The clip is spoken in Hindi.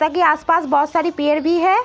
ताकि आसपास बहोत सारी पेर भी है।